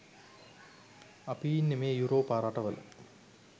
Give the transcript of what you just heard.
අපි ඉන්න මේ යුරෝපා රටවල